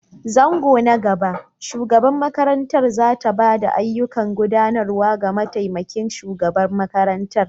Zango na gaba, shugabar makarantar za ta ba da ayyukan gudanarwa ga mataimakin shugaban makarantar.